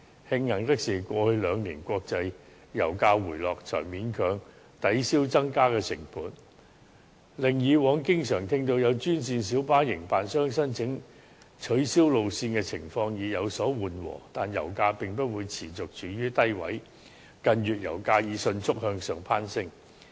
慶幸的是，過去兩年國際油價回落，這才勉強抵銷增加的成本，令以往經常聽到有專線小巴營辦商申請取消路線的情況有所緩和，但油價並不會持續處於低位，近月油價已迅速向上攀升。